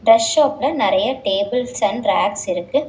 Dress ஷாப்ல நெறைய tables and racks இருக்கு.